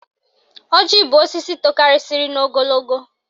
Ọjị bụ osisi tokarisiri n'ogologo